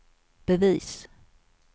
bevis